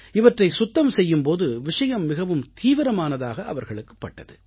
இவற்றைச் சுத்தம் செய்யும் போது விஷயம் மிகவும் தீவிரமானதாக அவர்களுக்குப் பட்டது